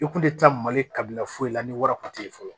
I kun tɛ mali kabila foyi la ni wara ko ye fɔlɔ